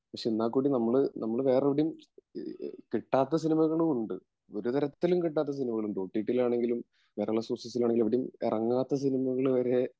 എന്നാൽകൂടി നമ്മൾ വേറെവിടെയും കിട്ടാത്ത സിനിമകളും ഉണ്ട് ഒരു തരത്തിലും കിട്ടാത്ത സിനിമകളും ഉണ്ട് ഓ ട്ടി ട്ടി യിലാണെങ്കിലും കേരളാ സോഴ്സ്‌സിലാണെങ്കിലും എവിടെയും ഇറങ്ങാത്ത സിനിമകൾ വരെ